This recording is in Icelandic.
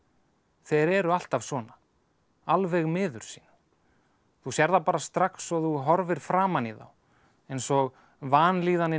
þeir eru alltaf svona alveg miður sín þú sérð það bara strax og þú horfir framan í þá eins og vanlíðanin